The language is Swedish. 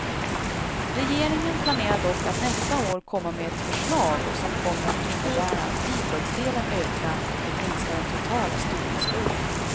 Regeringen planerar dock att nästa år komma med ett förslag som kommer att innebära att bidragsdelen ökar för att minska den totala studieskulden.